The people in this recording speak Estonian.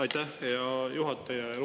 Aitäh, hea juhataja!